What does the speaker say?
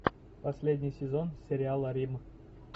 последний сезон сериала рим